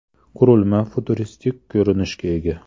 Qurilma futuristik ko‘rinishga ega.